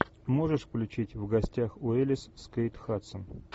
можешь включить в гостях у элис с кейт хадсон